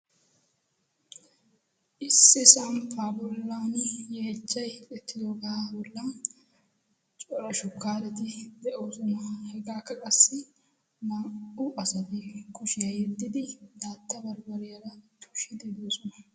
issi sampaa bollan yeechchay uttidoogaa bollan cora shukkaareti de7oosona. hegaakka qassi naa77u asati kushiyaa yeddidi daatta baribariyaara tushshiiddi de7oosona.